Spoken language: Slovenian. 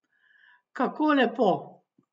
Kako lepo!